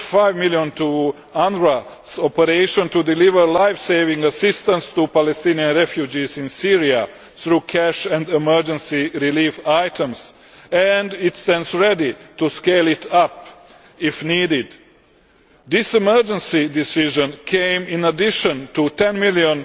2.5 million to UNRWA's operation to deliver lifesaving assistance to Palestinian refugees in Syria through cash and emergency relief items, and it stands ready to scale it up if needed. This emergency decision came in addition to a EUR 10 million